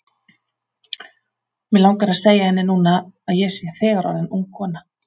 Mig langar að segja henni núna að ég sé þegar orðin ung kona.